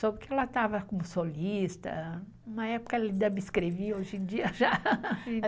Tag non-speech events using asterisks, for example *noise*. Soube que ela estava como solista, uma época ela ainda me escrevia, hoje em dia já *laughs* se interrompeu.